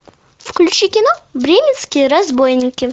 включи кино бременские разбойники